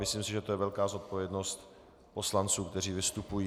Myslím si, že to je velká zodpovědnost poslanců, kteří vystupují.